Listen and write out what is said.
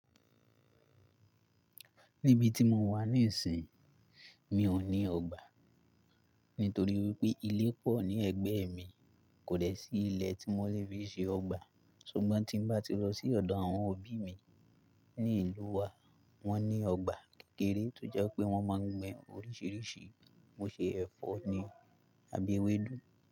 Níbi tí mo wà níìsín, mi ò ní ọgbà. Nítorí wípé ilé pọ̀ ní ẹ̀gbẹ́ mi, kòdẹ́ sí ilé tí mo lè fi ṣe ọgbà. Ṣùgbọ́n tí ń bá ti lọ sí ọ̀dọ̀ àwọn òbí mi ní ìlú wa, wọ́n ní ọgbà kékeré tó jẹ́ pé wọ́n máa ń gbin oríṣiríṣi, mo ṣe ẹ̀fọ́ ni àbí ewédú.